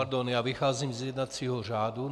Pardon, já vycházím z jednacího řádu.